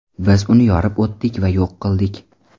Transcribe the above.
Biz uni yorib o‘tdik va yo‘q qildik.